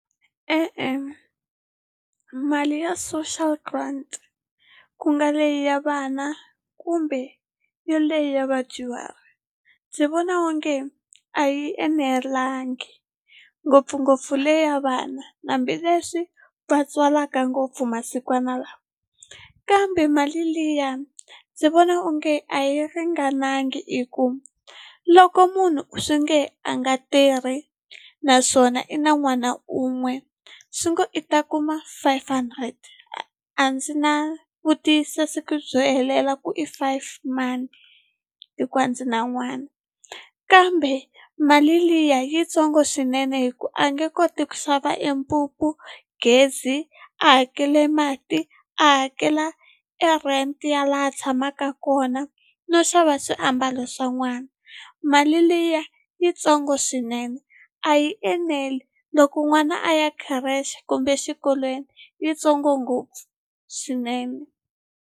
E-e, mali ya social grant ku nga leyi ya vana kumbe ya leyi ya vadyuhari ndzi vona onge a yi enelangi ngopfungopfu leya vana hambileswi va tswalaka ngopfu masikwana lawa kambe mali liya ndzi vona onge a yi ringananga i ku loko munhu swi nge a nga tirhi naswona i na n'wana un'we swi ngo i ta kuma five hundred a ndzi na vutiyisisi byo helela ku i five mani hi ku a ndzi na n'wana kambe mali liya yitsongo swinene hi ku a nge koti ku xava e mpupu gezi a hakele mati a hakela e rent ya laha a tshamaka kona no xava swiambalo swa n'wana mali liya yitsongo swinene a yi eneli loko n'wana a ya khirexe kumbe exikolweni yitsongo ngopfu swinene.